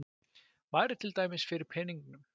Væri til dæmis fyrir peningum.